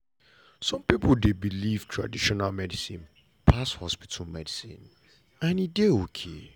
some pipo dey believe traditional medicine pass hospital medicine and e e dey ok.